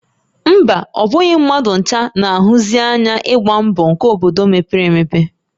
Mba, ọ bụghị mmadụ ncha na-ahụsi ányá ịgba mbọ nkè obodo mepere emepe